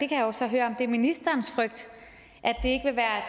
kan jo så høre om det er ministerens frygt